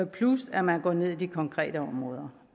plus at man går ned i de konkrete områder